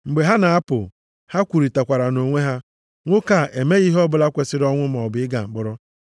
Mgbe ha na-apụ, ha kwurịtara nʼonwe ha, “Nwoke a emeghị ihe ọbụla kwesiri ọnwụ maọbụ ịga mkpọrọ.”